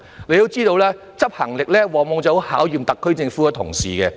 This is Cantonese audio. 你也知道，執行力往往很能考驗特區政府同事。